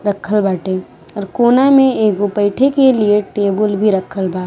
रखल बाटे और कोना में एगो बैठे के लिए टेबुल भी रखल बा।